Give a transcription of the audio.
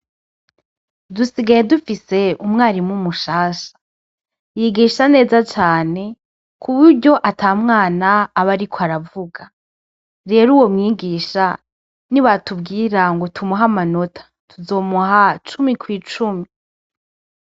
Dusigaye dufise umwarimu mushasha yigisha neza cane kuburyo ata mwana aba ariko aravuga rero uwo mwigisha nibatubwira ngo tumuhe amanota tuzomuha cumi kwi cumi.